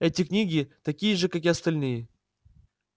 эти книги такие же как и остальные